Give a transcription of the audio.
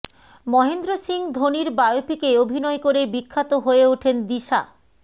মহেন্দ্র সিংহ ধোনির বায়োপিকে অভিনয় করে বিখ্যাত হয়ে ওঠেন দিশা